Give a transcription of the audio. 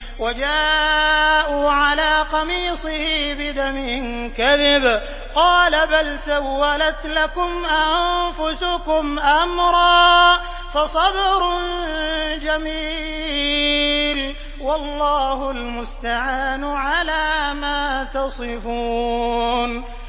وَجَاءُوا عَلَىٰ قَمِيصِهِ بِدَمٍ كَذِبٍ ۚ قَالَ بَلْ سَوَّلَتْ لَكُمْ أَنفُسُكُمْ أَمْرًا ۖ فَصَبْرٌ جَمِيلٌ ۖ وَاللَّهُ الْمُسْتَعَانُ عَلَىٰ مَا تَصِفُونَ